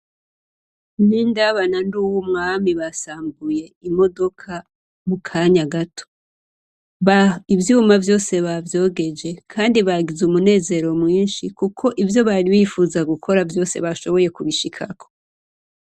Bindaba ba Nduwumwami basambuye imodoka mu kanya gato. Ivyuma vyose bavyogeje Kandi bagize umunezero mwinshi kuko ivyo bari bipfuza gukora Vyose bashoboye kubishikako.